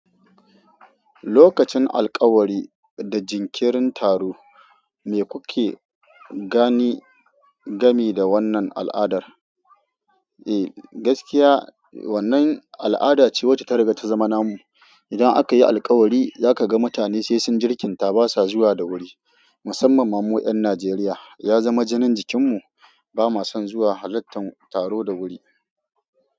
Lokacin alkawari da jinkirin taro, me kuke gani game da wannan al'adar? Eh, gaskiya wannan al'ada ce wacce ta rage ta zama namu. Idan aka yi alkawari, zaka ga mutane sai sun jirkinta ba sa zuwa da wuri. Musamman ma mu ƴan Najeriya, ya zama jinin jikin mu bama son zuwa halartan taro da wuri.